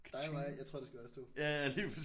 Dig og mig jeg tror det skal være os 2